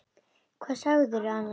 Hvað segirðu annars, kæra?